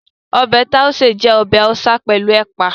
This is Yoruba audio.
Ọbẹ̀ Tàúṣé jẹ́ ọbẹ̀ Haúsá pẹ̀lú Ẹ̀pà